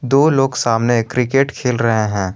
दो लोग सामने क्रिकेट खेल रहे हैं।